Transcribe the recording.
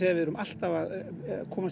við erum alltaf að komast í